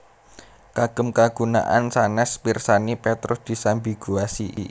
Kagem kagunaan sanès pirsani Petrus disambiguasi